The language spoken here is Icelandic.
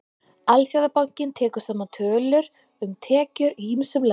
Alþjóðabankinn tekur saman tölur um tekjur í ýmsum löndum.